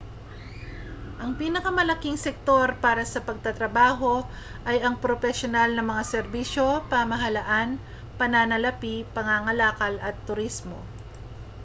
ang pinakamalalaking sektor para sa pagtatrabaho ay ang propesyonal na mga serbisyo pamahalaan pananalapi pangangalakal at turismo